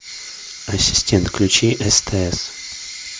ассистент включи стс